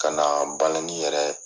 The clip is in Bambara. Ka na balani yɛrɛ